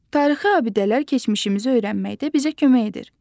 Tarixi abidələr keçmişimizi öyrənməkdə bizə kömək edir.